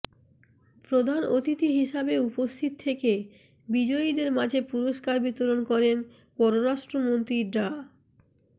প্রধান অতিথি হিসেবে উপস্থিত থেকে বিজয়ীদের মাঝে পুরস্কার বিতরণ করেন পররাষ্ট্র মন্ত্রী ডা